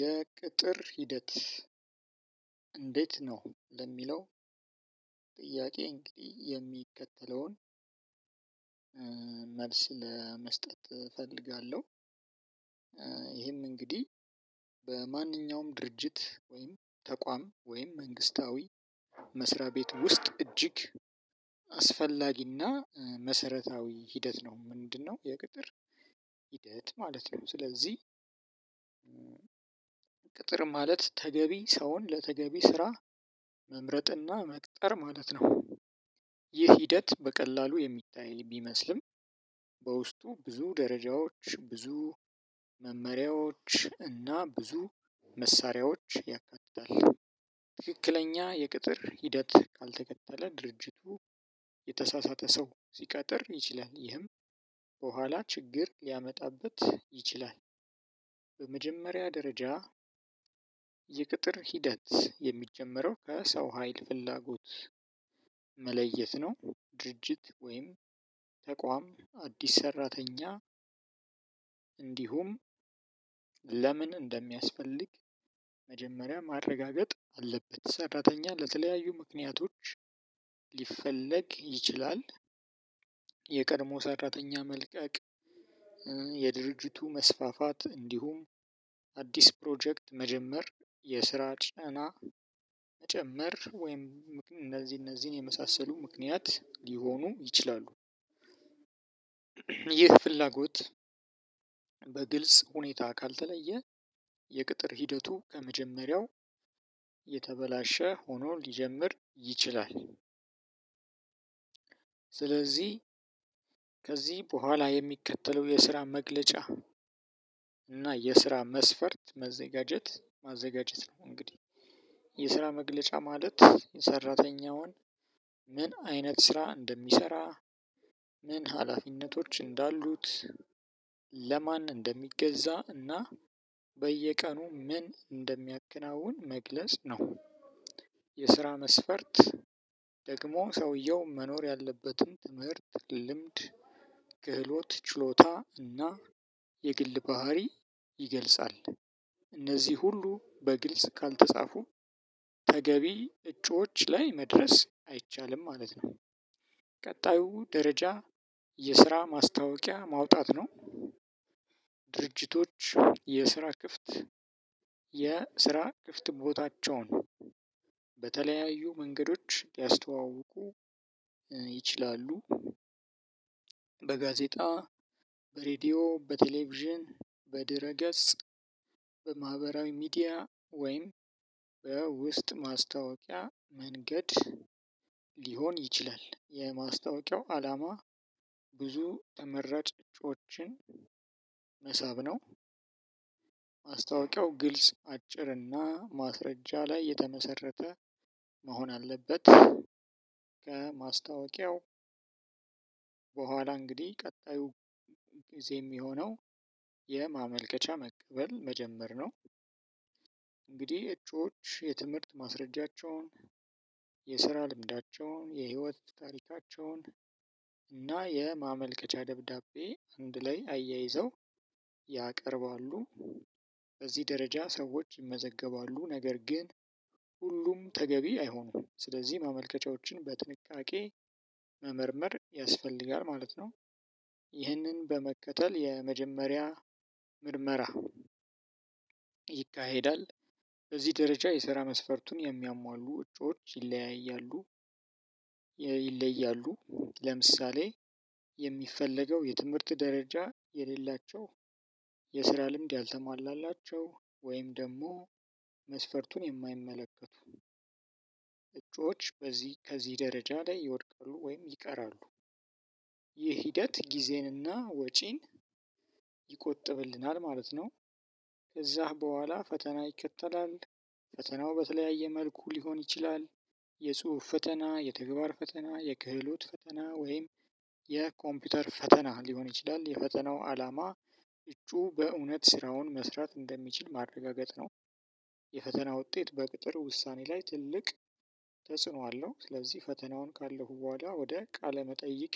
የቅጥር ሂደት እንዴት ነው። ለሚለው ጥያቄ እንግዲህ የሚከተለውን መልስ ለመስጠት እፈልጋለሁ። ይሄም እንግዲህ በማንኛውም ድርጅት ወይም ተቋም ወይም መንግስታዊ መስሪያ ቤት ውስጥ እጅግ አስፈላጊና መሰረታዊ ሂደት ነው። ምንድነው የቅጥር ሂደት ማለት ነው ስለዚህ ቅጥር ማለት ተገቢ ሰውን ለተገቢ ስራ መምረጥና መቅጠር ማለት ነው። ይህ ሂደት በቀላሉ የሚታየን ቢመስልም በውስጡ ብዙ ደረጃዎች ብዙ መመሪያዎች እና ብዙ መሳሪያዎች ያካትታል። ትክክለኛ የቅጥር ሂደት ካልተከተለ ድርጅቱ የተሳሳተ ሰው ሲቀጥር ይችላል ይህም በኋላ ችግር ሊያመጣበት ይችላል። በመጀመሪያ ደረጃ የቅጥር ሂደት የሚጀመረው ከሰው ሀይል ፍላጎት መለየት ነው ድርጅት ወይም ተቋም አዲስ ሰራተኛ እንዲሁም ለምን እንደሚያስፈልግ መጀመሪያ ማረጋገጥ አለበት ሰራተኛ ለተለያዩ ምክንያቶች ሊፈለግ ይችላል። የቀድሞ ሰራተኛ መልቀቅ የድርጅቱ መስፋፋት እንዲሁም አዲስ ፕሮጀክት መጀመር የስራ ጫና መጨመር ወይም እነዚህ እነዚህን የመሳሰሉ ምክንያት ሊሆኑ ይችላሉ። ይህ ፍላጎት በግልጽ ሁኔታ ካልተለየ የቅጥር ሂደቱ ከመጀመሪያው የተበላሸ ሆኖ ሊጀምር ይችላል። ስለዚህ ከዚህ በኋላ የሚከተለው የስራ መግለጫ እና የስራ መስፈርት መዘጋጀት ማዘጋጀት ነው እንግዲህ የስራ መግለጫ ማለት ሰራተኛውን ምን አይነት ስራ እንደሚሰራ ምን ሀላፊነቶች እንዳሉት ለማን እንደሚገዛ ና በየቀኑ ምን እንደሚያከናውን መግለጽ ነው። የስራ መስፈርት ደግሞ ሰውየው መኖር ያለበትን ትምህርት ልምድ ክህሎት ችሎታ እና የግል ባህሪ ይገልጻል። እነዚ ሁሉ በግልጽ ካልተፃፉ ተገቢ እጩዎች ላይ መድረስ አይቻልም ማለት ነው። ቀጣዩ ደረጃ የስራ ማስታወቂያ ማውጣት ነው። ድርጅቶች የስራ ክፍት የስራ ክፍት ቦታቸውን በተለያዩ መንገዶች ሊያስተዋውቁ ይችላሉ። በጋዜጣ በሬዲዮ በቴሌቪዥን በድረ ገጽ በማህበራዊ ሚዲያ ወይም በውስጥ ማስታወቂያ መንገድ ሊሆን ይችላል የማስታወቂያው አላማ ብዙ ተመረጭ ጽሁፎችን መሳብ ነው። ማስታወቂያው ግልጽ አጭር እና ማስረጃ ላይ የተመሰረተ መሆን አለበት። ከማስታወቂያው በኋላ እንግዲህ ቀጣዩ ጊዜ የሚሆነው የማመልከቻ መቀበል መጀመር ነው። እንግዲህ እጩዎች የትምህርት ማስረጃቸውን የስራ ልምዳቸውን የህይወት ታሪካቸውን እና የማመልከቻ ደብዳቤ አንድ ላይ አያይዘው ያቀርባሉ። በዚህ ደረጃ ሰዎች ይመዘገባሉ። ነገር ግን ሁሉም ተገቢ አይሆንም። ስለዚህ ማመልከቻዎችን በጥንቃቄ መመርመር ያስፈልጋል ማለት ነው። ይህንን በመከተል የመጀመሪያ ምርመራ ይካሄዳል። በዚህ ደረጃ የስራ መስፈርቱን የሚያሟሉ እጩዎች ይለያያሉ የ ይለያሉ ለምሳሌ የሚፈለገው የትምህርት ደረጃ የሌላቸው የስራ ልምድ ያልተሟላላቸው ወይም ደግሞ መስፈርቱን የማይመለከቱ እጩዎች በዚህ ከዚህ ደረጃ ላይ ይወድቃሉ ወይም ይቀራሉ ይህ ሂደት ጊዜንና ወጪን ይቆጥብልናል ማለት ነው። ከዛ በኋላ ፈተና ይከተላል። ፈተናው በተለያየ መልኩ ሊሆን ይችላል። የጽሁፍ ፈተና የተግባር ፈተና፣ የክህሎት ፈተና፣ ወይም የኮምፒውተር ፈተና ሊሆን ይችላል። የፈተናው አላማ እጩ በእውነት ስራውን መስራት እንደሚችል ማረጋገጥ ነው። የፈተና ውጤት በቅጥር ውሳኔ ላይ ትልቅ ተጽዕኖ አለው። ስለዚህ ፈተናውን ካለፈው ወዲያ ወደ ቃለ መጠይቅ